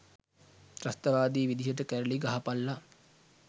ත්‍රස්තවාදී විදිහට කැරලි ගහපල්ල.